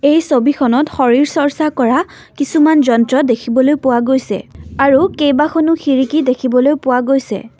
এই ছবিখনত শৰীৰ চৰ্চা কৰা কিছুমান যন্ত্ৰ দেখিবলৈ পোৱা গৈছে আৰু কেবাখনো খিৰিকী দেখিবলৈ পোৱা গৈছে।